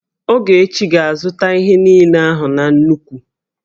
Ogechi ga-azụta ihe niile ahụ na nnukwu